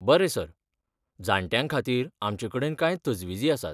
बरें सर, जाण्ट्यां खातीर आमचे कडेन कांय तजविजी आसात.